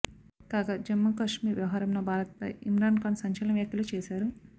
కాగా జమ్మూకశ్మీర్ వ్యవహారంలో భారత్పై ఇమ్రాన్ ఖాన్ సంచలన వ్యాఖ్యలు చేశారు